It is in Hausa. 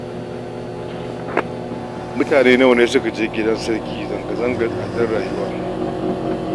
Mutane nawa ne suka je gidan sarki zanga-zangar tsadar rayuwa?